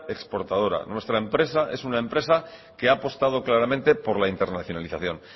exportadora nuestra empresa es una empresa que ha apostado claramente por la internacionalización